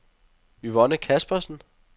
Yvonne Caspersen